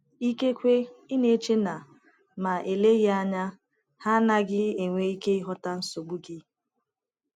Ikekwe ị na - eche na, ma eleghị anya, ha agaghị enwe ike ịghọta nsogbu gị.